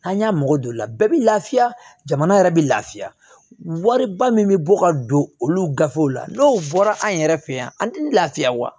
An y'a mɔgɔ don o la bɛɛ bɛ lafiya jamana yɛrɛ bɛ lafiya wariba min bɛ bɔ ka don olu gafew la n'o bɔra an yɛrɛ fɛ yen an tɛ lafiya wa